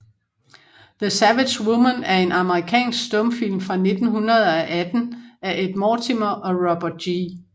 The Savage Woman er en amerikansk stumfilm fra 1918 af Ed Mortimer og Robert G